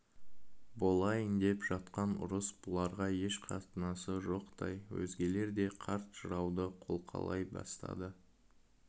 болайын деп жатқан ұрыс бұларға еш қатынасы жоқтай өзгелер де қарт жырауды қолқалай бастады